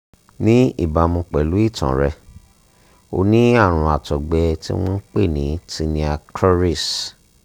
ní ìbámu pẹ̀lú ìtàn rẹ o ní àrùn àtọ́gbẹ tí wọ́n ń pè ní tinea cruris